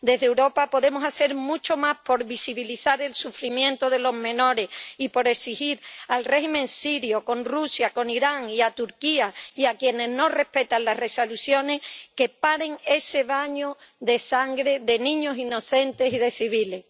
Desde Europa podemos hacer mucho más por visibilizar el sufrimiento de los menores y por exigir al régimen sirio, con Rusia, con Irán, y a Turquía y a quienes no respetan las resoluciones que paren ese baño de sangre de niños inocentes y de civiles.